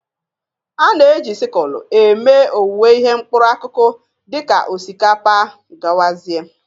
A na-eji sịkụlụ eme owuwe ihe mkpụrụ akụkụ dị ka osikapa wdg.